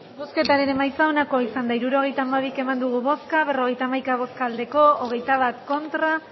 hirurogeita hamabi eman dugu bozka berrogeita hamaika bai hogeita bat ez